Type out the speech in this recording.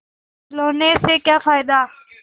खिलौने से क्या फ़ायदा